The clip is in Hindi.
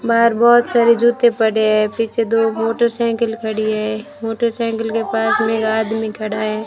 बाहर बहोत सारे जूते पड़े हैं पीछे दो मोटरसाइकिल खड़ी है मोटरसाइकिल के पास भी एक आदमी खड़ा है।